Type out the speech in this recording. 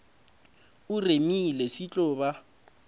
o remile se tlo ba